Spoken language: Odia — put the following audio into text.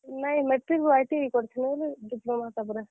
ନାଇଁ Matric ରୁ ITI କରିଥିଲି, Diploma ତାପ୍ ରେ।